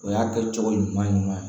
O y'a kɛ cogo ɲuman ye ɲuman ye